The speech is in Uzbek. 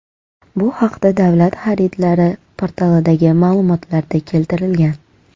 Bu haqda Davlat xaridlari portalidagi ma’lumotlarda keltirilgan .